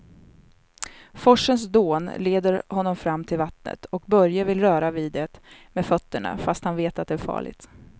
Forsens dån leder honom fram till vattnet och Börje vill röra vid det med fötterna, fast han vet att det är farligt.